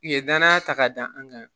U ye danaya ta k'a dan an kan